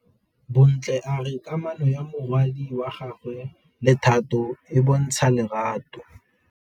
Bontle a re kamanô ya morwadi wa gagwe le Thato e bontsha lerato.